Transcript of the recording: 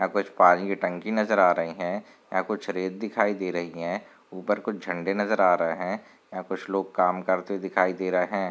यहाँ कुछ पानी की टंकी नजर आ रही है यहाँ कुछ रेत दिखाई दे रही है ऊपर कुछ झंडे नजर आ रहे है यहाँ कुछ लोग काम करते दिखाई दे रहे है।